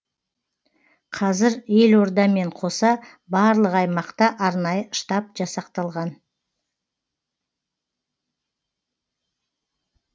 қазір елордамен қоса барлық аймақта арнайы штаб жасақталған